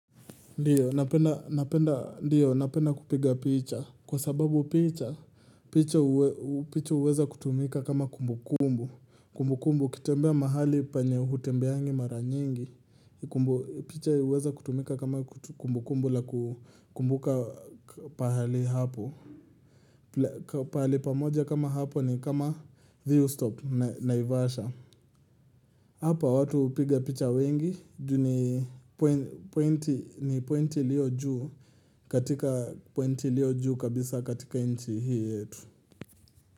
Ndiyo napenda kupiga picha kwa sababu picha picha huwe picha huweza kutumika kama kumbukumbu kumbukumbu ukitembea mahali penye hutembeangi mara nyingi kumbu picha huweza kutumika kama kumbukumbu la ku kukumbuka pahali hapo pahali pamoja kama hapo ni kama thiu stop na naivasha Hapa watu hupiga picha wengi juu ni poi pointi ni pointi iliyo juu katika pointi iliyo juu kabisa katika nchi hii yetu.